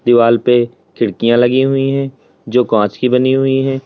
दीवाल पे खिड़कियां लगी हुई है जो कांच की बनी हुई है।